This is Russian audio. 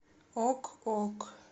ок ок